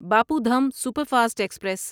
Bapu Dham superfast express